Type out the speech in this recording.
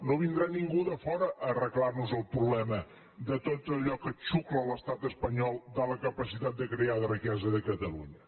no vindrà ningú de fora a arreglar nos el problema de tot allò que xucla l’estat espanyol de la capacitat de crear riquesa de catalunya